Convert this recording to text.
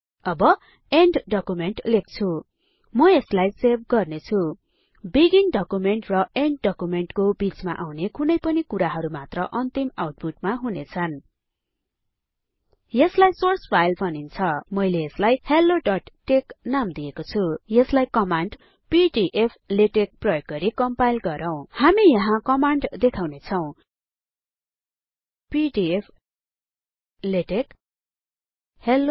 अब end document लेख्छु म यसलाई सेभ गर्ने छुँ बिगिन डकुमेन्ट र एण्ड डकुमेन्टको बिचमा आउने कुनैपनि कुराहरु मात्र अन्तिम आउटपुटमा हुनेछन् यसलाई सोर्स फाइल भनिन्छ मैले यसलाई helloटेक्स नाम दिएको छुँ यसलाई कमाण्ड पीडीफ्लेटेक्स प्रयोग गरि कम्पाइल गरौँ हामी यहाँ कमाण्ड देखाउने छौं पीडीएफ लेटेक्स हेल्लो